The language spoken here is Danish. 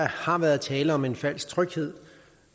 har været tale om en falsk tryghed